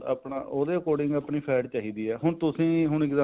ਆਪਣਾ ਉਹਦੇ according ਆਪਣੀ fat ਚਾਹੀਦੀ ਆ ਹੁਣ ਤੁਸੀਂ ਹੁਣ